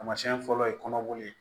Taamasiyɛn fɔlɔ ye kɔnɔboli ye